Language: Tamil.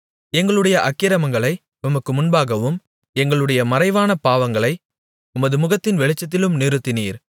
எங்களுடைய அக்கிரமங்களை உமக்கு முன்பாகவும் எங்களுடைய மறைவான பாவங்களை உமது முகத்தின் வெளிச்சத்திலும் நிறுத்தினீர்